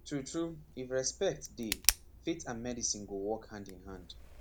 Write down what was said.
true true if respect dey faith and medicine go work hand in hand